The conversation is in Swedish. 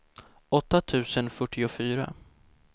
åtta tusen fyrtiofyra